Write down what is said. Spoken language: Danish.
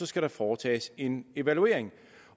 skal der foretages en evaluering